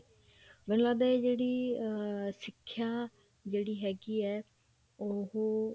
ਮੈਨੂੰ ਲੱਗਦਾ ਇਹ ਜਿਹੜੀ ਸਿੱਖਿਆ ਜਿਹੜੀ ਹੈਗੀ ਹੈ ਉਹ